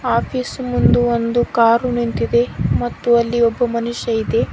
Office ಮುಂದು ಒಂದು car ನಿಂತಿದೆ ಮತ್ತು ಅಲ್ಲಿ ಒಬ್ಬ ಮನುಷ್ಯ ಇದೆ.